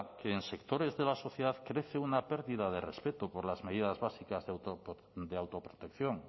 que en sectores de la sociedad crece una pérdida de respeto por las medidas básicas de autoprotección